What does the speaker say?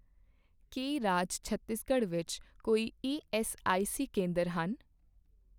ਕੀ ਰਾਜ ਛੱਤੀਸਗੜ੍ਹ ਵਿੱਚ ਕੋਈ ਈਐੱਸਆਈਸੀ ਕੇਂਦਰ ਹਨ ?